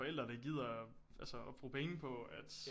Forældre der gider altså at bruge penge på at